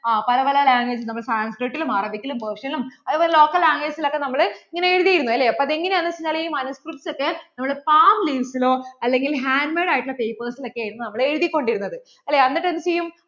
ആ പല പല language, നമ്മൾ sankrit ലും Arabic ലും, Persian ലും അതുപോലെ തന്നെ local language ലും ഒക്കെ നമ്മൾ ഇങ്ങനെ എഴുത്തിരുന്നു അല്ലേ അപ്പോ അത് എങ്ങാനു വച്ച് കഴിഞ്ഞാൽ ഈ manuscript ഒക്കെ നമ്മൾ palm leaves ലോ അല്ലെങ്കിൽ hand made ആയിട്ട് ഉള്ള papers ൽ ഒക്കെ ആണ് നമ്മൾ എഴുതിക്കൊണ്ടിരുന്നത് അല്ലേ എന്നിട്ടു എന്ത് ചെയ്യും